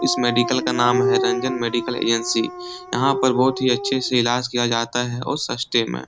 इस मेडिकल का नाम है रंजन मेडिकल ए.एन.सी. यहाँ पर बहुत ही अच्छे से इलाज किया जाता है और सस्ते में।